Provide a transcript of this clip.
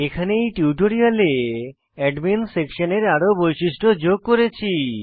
এখানে এই টিউটোরিয়ালে অ্যাডমিন সেকশন এ আরো বৈশিষ্ট্য যোগ করেছি